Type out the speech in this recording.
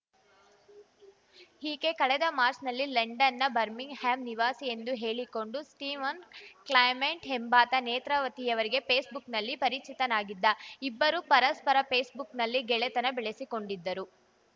ಈಕೆ ಕಳೆದ ಮಾಚ್‌ರ್‍ನಲ್ಲಿ ಲಂಡನ್‌ನ ಬರ್ಮಿಂಗ್‌ಹ್ಯಾಂ ನಿವಾಸಿಯೆಂದು ಹೇಳಿಕೊಂಡ ಸ್ಟೀವನ್‌ ಕ್ಲೈಮೆಂಟ್‌ ಎಂಬಾತ ನೇತ್ರಾವತಿಯವರಿಗೆ ಫೇಸ್‌ಬುಕ್‌ನಲ್ಲಿ ಪರಿಚಿತನಾಗಿದ್ದ ಇಬ್ಬರೂ ಪರಸ್ಪರ ಫೇಸ್‌ಬುಕ್‌ನಲ್ಲಿ ಗೆಳೆತನ ಬೆಳೆಸಿ ಕೊಂಡಿದ್ದರು